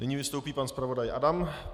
Nyní vystoupí pan zpravodaj Adam.